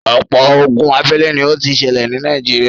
ọ̀pọ̀ ogun abélé ni ó ti sẹlẹ̀ ní Nàìjíríà.